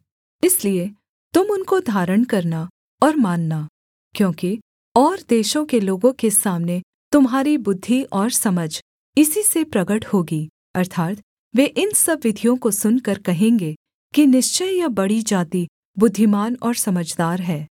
इसलिए तुम उनको धारण करना और मानना क्योंकि और देशों के लोगों के सामने तुम्हारी बुद्धि और समझ इसी से प्रगट होगी अर्थात् वे इन सब विधियों को सुनकर कहेंगे कि निश्चय यह बड़ी जाति बुद्धिमान और समझदार है